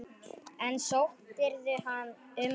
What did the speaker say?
En sóttirðu um hana?